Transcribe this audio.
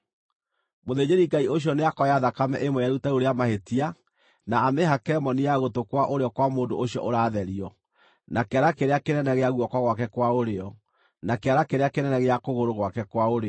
Mũthĩnjĩri-Ngai ũcio nĩakoya thakame ĩmwe ya iruta rĩu rĩa mahĩtia na amĩhake moni ya gũtũ kwa ũrĩo kwa mũndũ ũcio ũratherio, na kĩara kĩrĩa kĩnene gĩa guoko gwake kwa ũrĩo, na kĩara kĩrĩa kĩnene gĩa kũgũrũ gwake kwa ũrĩo.